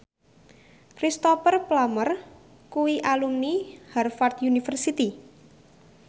Cristhoper Plumer kuwi alumni Harvard university